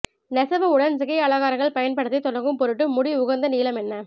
நெசவு உடன் சிகை அலங்காரங்கள் பயன்படுத்தி தொடங்கும் பொருட்டு முடி உகந்த நீளம் என்ன